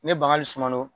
Ne bangali sumanenw